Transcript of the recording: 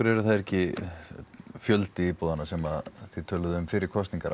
eru þær ekki fjöldi íbúðanna sem að þið töluðuð um fyrir kosningar